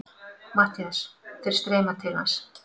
MATTHÍAS: Þeir streyma til hans.